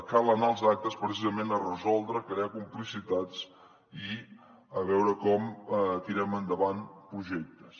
cal anar als actes precisament a resoldre a crear complicitats i a veure com tirem endavant projectes